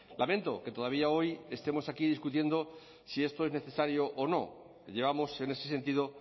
lamento que todavía hoy estemos aquí discutiendo si esto es necesario o no llevamos en ese sentido